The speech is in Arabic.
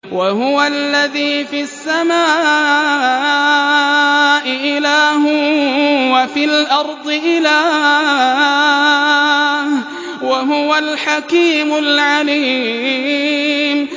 وَهُوَ الَّذِي فِي السَّمَاءِ إِلَٰهٌ وَفِي الْأَرْضِ إِلَٰهٌ ۚ وَهُوَ الْحَكِيمُ الْعَلِيمُ